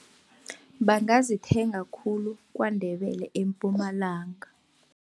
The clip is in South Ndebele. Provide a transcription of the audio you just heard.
Bangazithenga khulu KwaNdebele, eMpumalanga.